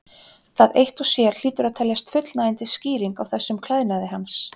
Það eitt og sér hlýtur að teljast fullnægjandi skýring á þessum klæðnaði hans.